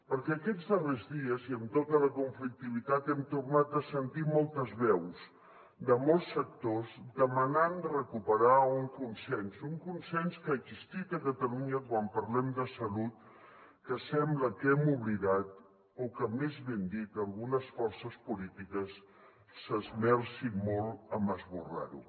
perquè aquests darrers dies i amb tota la conflictivitat hem tornat a sentir moltes veus de molts sectors demanant recuperar un consens un consens que ha existit a catalunya quan parlem de salut que sembla que hem oblidat o que més ben dit algunes forces polítiques s’esmercen molt en esborrar lo